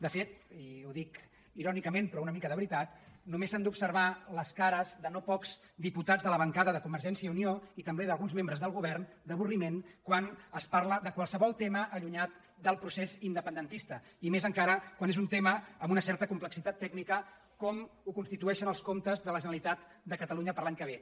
de fet i ho dic irònicament però una mica de veri·tat només s’han d’observar les cares de no pocs di·putats de la bancada de convergència i unió i també d’alguns membres del govern d’avorriment quan es parla de qualsevol tema allunyat del procés indepen·dentista i més encara quan és un tema amb una certa complexitat tècnica com ho constitueixen els comptes de la generalitat de catalunya per a l’any que ve